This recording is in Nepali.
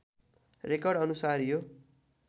रेकर्ड अनुसार यो